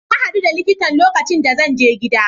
Na hadu da likitan lokacin da zan je gida.